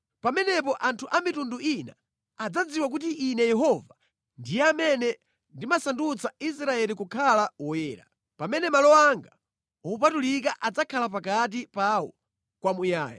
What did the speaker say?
Pamenepo anthu a mitundu ina adzadziwa kuti Ine Yehova ndiye amene ndimasandutsa Israeli kukhala woyera, pamene malo anga opatulika adzakhala pakati pawo kwamuyaya!’ ”